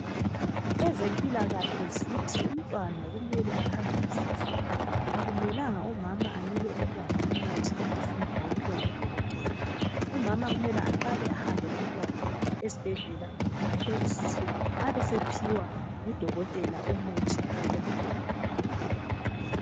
Ezempilakahle zithi umntwana kumele akhangelisiswe. Akumelanga umama anike umntwana umuthi angazange wawuphiwa ngudokotela. Umama kumele aqale ahambe lomntwana esbhedlela ahlolisiswe, abesephiwa ngudokotela umuthi oqondileyo.